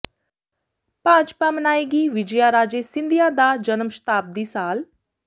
ਭਾਜਪਾ ਮਨਾਏਗੀ ਵਿਜਯਾ ਰਾਜੇ ਸਿੰਧੀਆ ਦਾ ਜਨਮ ਸ਼ਤਾਬਦੀ ਸਾਲ